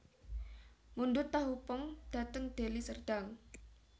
Mundhut tahu pong dhateng Deli Serdang